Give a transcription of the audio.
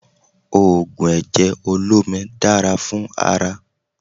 Ògùn ẹ̀jẹ̀ olómi dára fún ara